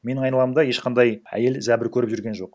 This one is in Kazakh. менің айналамда ешқандай әйел зәбір көріп жүрген жоқ